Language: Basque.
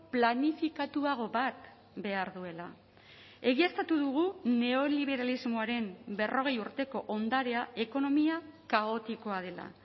planifikatuago bat behar duela egiaztatu dugu neoliberalismoaren berrogei urteko ondarea ekonomia kaotikoa dela